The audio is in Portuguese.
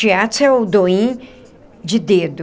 Shiatsu é o do in de dedo.